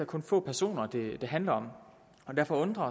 kun få personer det handler om derfor undrer